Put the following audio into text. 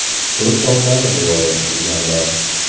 To‘rtovlari rivoyat qilganlar.